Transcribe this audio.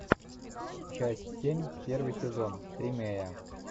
часть семь первый сезон тримея